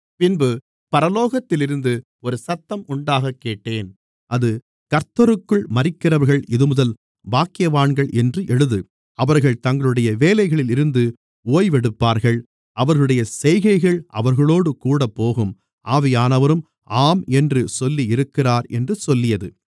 பின்பு பரலோகத்திலிருந்து ஒரு சத்தம் உண்டாகக் கேட்டேன் அது கர்த்தருக்குள் மரிக்கிறவர்கள் இதுமுதல் பாக்கியவான்கள் என்று எழுது அவர்கள் தங்களுடைய வேலைகளில் இருந்து ஒய்வெடுப்பார்கள் அவர்களுடைய செய்கைகள் அவர்களோடு கூடப்போகும் ஆவியானவரும் ஆம் என்று சொல்லியிருக்கிறார் என்று சொல்லியது